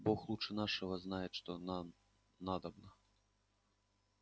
бог лучше нашего знает что нам надобно